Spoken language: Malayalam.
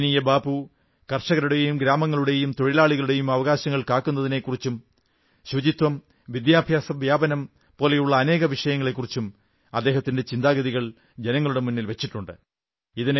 പൂജനീയ ബാപ്പു കർഷകരുടെയും ഗ്രാമങ്ങളുടെയും തൊഴിലാളികളുടെയും അവകാശങ്ങൾ കാക്കുന്നതിനെക്കുറിച്ചും ശുചിത്വം വിദ്യാഭ്യാസ വ്യാപനം പോലുള്ള അനേകം വിഷയങ്ങളെക്കുറിച്ചും അദ്ദേഹത്തിന്റെ ചിന്താഗതികൾ ജനങ്ങളുടെ മുന്നിൽ വച്ചിട്ടുണ്ട്